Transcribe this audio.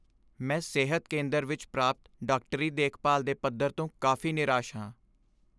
ਮੈਂ ਸਿਹਤ ਕੇਂਦਰ ਵਿੱਚ ਪ੍ਰਾਪਤ ਡਾਕਟਰੀ ਦੇਖਭਾਲ ਦੇ ਪੱਧਰ ਤੋਂ ਕਾਫ਼ੀ ਨਿਰਾਸ਼ ਹਾਂ।